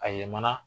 A ye mana